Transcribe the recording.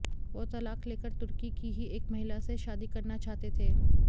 वो तलाक़ लेकर तुर्की की ही एक महिला से शादी करना चाहते थे